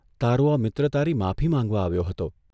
તારો આ મિત્ર તારી માફી માંગવા આવ્યો હતો.